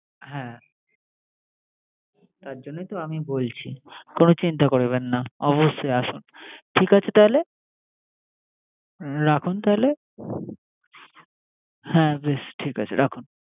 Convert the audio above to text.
হ্যা তার জন্যই তো আমি বলছি কোন চিন্তা করবেন না। ঠিক আছে তাইলে রাখুন তাইলে হ্যা বেষ ঠিক আছে